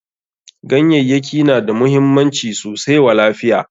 Ganyayyaki na da muhimmanci sosai wa lafiya.